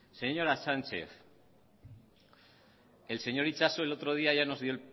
señora sánchez el señor itxaso el otro día ya nos dio